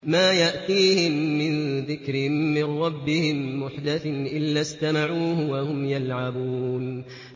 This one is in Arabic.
مَا يَأْتِيهِم مِّن ذِكْرٍ مِّن رَّبِّهِم مُّحْدَثٍ إِلَّا اسْتَمَعُوهُ وَهُمْ يَلْعَبُونَ